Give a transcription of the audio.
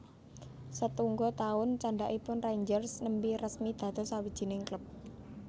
Setungga taun candhakipun Rangers nembè resmi dados sawijining klub